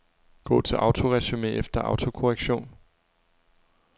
Gå til autoresumé efter autokorrektion.